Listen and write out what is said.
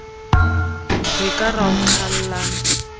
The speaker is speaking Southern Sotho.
re ka ra o qhallang